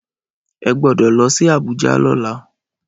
Ẹ gbọ́dọ̀ lọ sí Abuja lọ́la